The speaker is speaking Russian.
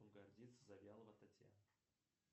гордиться завьялова татьяна